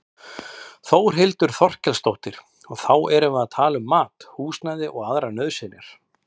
Þórhildur Þorkelsdóttir: Og þá erum við bara að tala um mat, húsnæði og aðrar nauðsynjar?